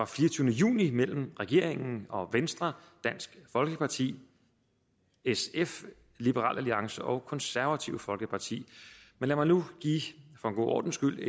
fireogtyvende juni mellem regeringen venstre dansk folkeparti sf liberal alliance og konservative folkeparti men lad mig nu for en god ordens skyld